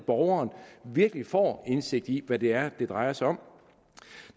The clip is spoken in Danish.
borgeren virkelig får indsigt i hvad det er det drejer sig om